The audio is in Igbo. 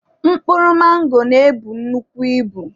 Mkpụrụ mango na-ebu nnukwu ibu.